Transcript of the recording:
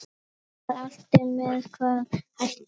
Gunnar Atli: Með hvaða hætti?